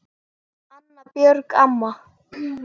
Amma, Björg amma.